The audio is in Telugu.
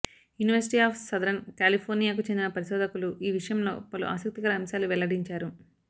యూనివర్సిటీ ఆఫ్ సదరన్ కాలిఫోర్నియాకు చెందిన పరిశోధకులు ఈ విషయంలో పలు ఆసక్తికర అంశాలు వెల్లడించారు